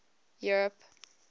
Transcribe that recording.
europe